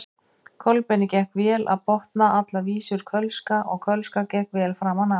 Kolbeini gekk vel að botna allar vísur kölska og kölska gekk vel framan af.